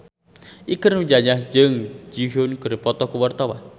Ikke Nurjanah jeung Jun Ji Hyun keur dipoto ku wartawan